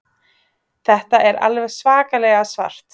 Þetta er alveg svakalega svart